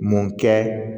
Mun kɛ